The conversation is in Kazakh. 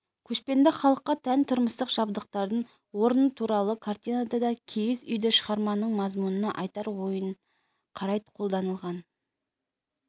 көшпенді халыққа тән тұрмыстық жабдықтардың орны туралы картинада да киіз үй шығарманың мазмұнына айтар ойына қарай қолданылған